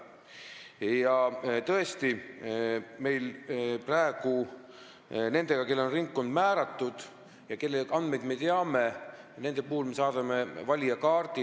Praegu on tõesti nii, et nendele, kellele on ringkond määratud ja kelle andmeid me teame, me saadame valijakaardi.